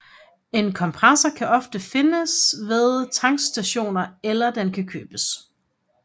En kompressor kan ofte findes ved tankstationer eller den kan købes